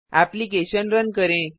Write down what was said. application run करें